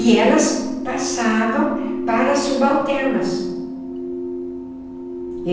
E elas passavam para as subalternas.